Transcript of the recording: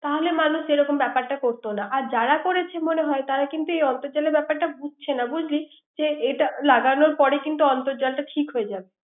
তাহলে মানুষ এ ব্যাপারটা করত না। আর যারা করছে মনে হয় তারা কিন্তু অর্ন্তজালের ব্যপারটা বুঝছে না বুজলি। লাগানো পরে কিন্তু অর্ন্তজালটা ঠিক হয়ে যাবে।